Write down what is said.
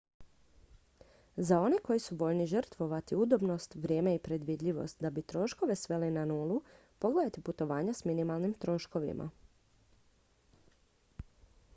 za one koji su voljni žrtvovati udobnost vrijeme i predvidljivost da bi troškove sveli na nulu pogledajte putovanja s minimalnim troškovima